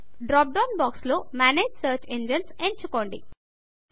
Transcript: drop down box లో manage search engines manage search engines ఎంచుకోండి